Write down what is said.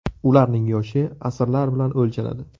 Ularning yoshi asrlar bilan o‘lchanadi.